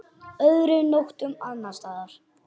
Öðrum nóttum annars staðar?